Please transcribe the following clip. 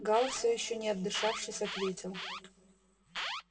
гаал всё ещё не отдышавшись ответил